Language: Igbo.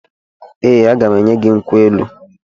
Ee, aga m enye gị nkwụ elu.